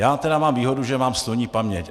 Já tedy mám výhodu, že mám sloní paměť.